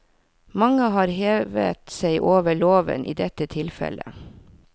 Mange har hevet seg over loven i dette tilfellet.